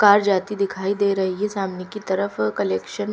car जाती दिखाई दे रही है सामने की तरफ कलेक्शन --